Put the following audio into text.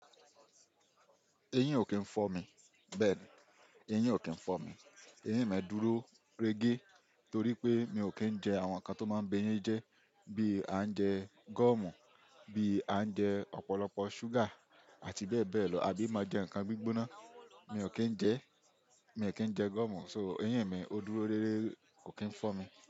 Eyin ò kí ń fọ́ mi, bẹ́ẹ̀ni, eyín ò kí ń fọ́ mi. Eyín mi dúró rege torí pé mi ò kí ń jẹ àwọn nǹkan tó máa ń bẹ eyín jẹ́ bí à ń jẹ gọ̀mù, bí a ń jẹ ọ̀pọ̀lọpọ̀ ṣúgà àti bẹ́ẹ̀ bẹ́ẹ̀ lọ. Àbí máa jẹ ǹkan gbígbóná, mi ò kí ń jẹ́, mi ò kí ń jẹ gúọ̀mù, so eyín mi ó dúró rere, kò kí ń fọ́ mi.